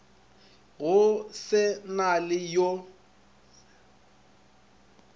go se na le yo